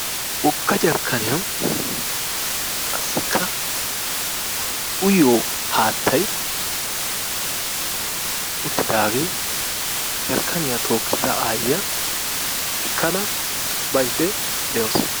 Wogga jarkkaniyan qassikka uyyiyo haattay uttidaagee arkkaniyaa tookkida aayyiya ekkada baydde de'awusu.